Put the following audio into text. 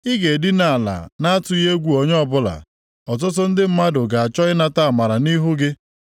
Ị ga-edina ala na-atụghị egwu onye ọbụla, ọtụtụ ndị mmadụ ga-achọ ịnata amara nʼihu gị.